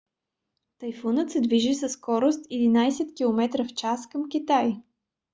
тайфунът се движи със скорост 11 км/ч към китай